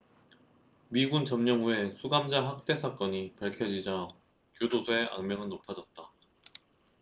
미군 점령 후에 수감자 학대 사건이 밝혀지자 교도소의 악명은 높아졌다